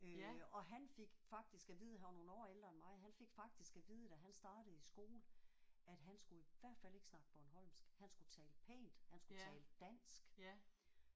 Øh og han fik faktisk at vide han var nogle år ældre end mig han fik faktisk at vide da han startede i skole at han skulle i hvert fald ikke snakke bornholmsk. Han skulle tale pænt han skulle tale dansk